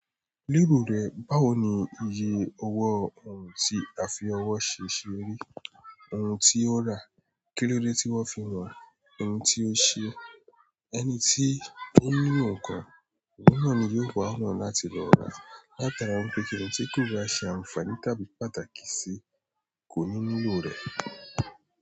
Lílo rẹ báwo ni iye owó, ohun tí a fi owó ṣe ṣe ri, ohun tí ó ra, kílódé tí wọ́n fi wọn, ohun tí ó ṣe e, ẹni tí ó ń nílò nǹkan òun náà ni yóò wa ọ̀nà láti rò rà á. Láti ará ipé kíni tí kò ba ṣe àǹfààní tàbí pàtàkì sí kò ní nílò rẹ.